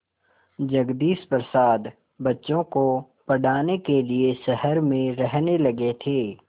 जगदीश प्रसाद बच्चों को पढ़ाने के लिए शहर में रहने लगे थे